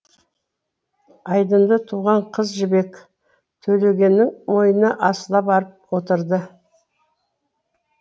айдынды туған қыз жібек төлегеннің мойнына асыла барып отырды